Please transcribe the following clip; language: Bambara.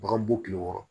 Bagan bɔ tile wɔɔrɔ